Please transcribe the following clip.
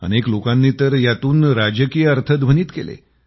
अनेक लोकांनी तर यातून राजकीय अर्थ ध्वनीत केले